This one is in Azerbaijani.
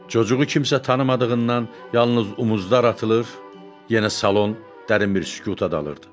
Çocuğu kimsə tanımadığından yalnız omuzlar atılır, yenə salon dərin bir sükuta dalırdı.